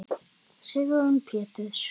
Sigrún Péturs.